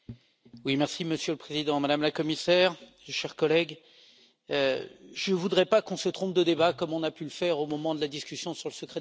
Monsieur le Président, Madame la Commissaire, chers collègues, je ne voudrais pas que l'on se trompe de débat comme on a pu le faire au moment de la discussion sur le secret des affaires.